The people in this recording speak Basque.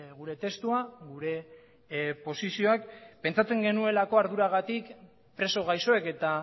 gure testua gure posizioak pentsatzen genuelako arduragatik preso gaixoek eta